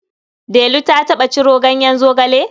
Delu ta taɓa ciro ganyen zogale?